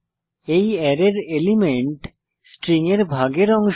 এই অ্যারের element string এর ভাগের অংশ